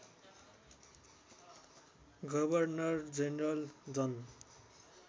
governor general Jan